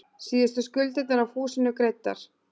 Síðustu skuldirnar af húsinu greiddar.